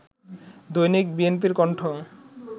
দৈনিক বিএনপির কণ্ঠ